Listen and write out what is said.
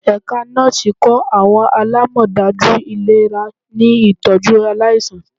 Ẹka Nọọsi kọ awọn alamọdaju ilera ni itọju alaisan